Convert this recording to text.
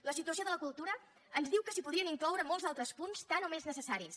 la situació de la cultura ens diu que s’hi podrien incloure molts altres punts tant o més necessaris